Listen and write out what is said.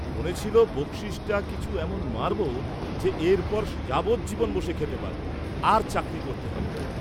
মনে ছিল বক্সিসটা কিছু এমন মারবো যে এর পর যাবজ্জীবন বসে খেতে পারব, আর চাকরী করতে হবে না।